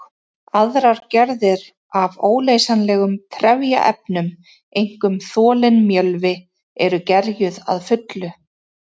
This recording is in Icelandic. Aðrar gerðir af óleysanlegum trefjaefnum, einkum þolinn mjölvi, eru gerjuð að fullu.